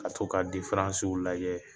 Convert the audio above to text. Ka to ka lajɛ